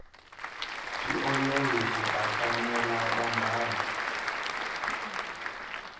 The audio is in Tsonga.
swi olovi ku bakanyela vanghana